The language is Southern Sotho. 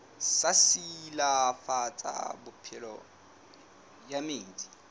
sa silafatsa phepelo ya metsi